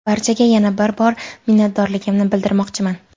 Barchaga yana bir bor minnatdorligimni bildirmoqchiman.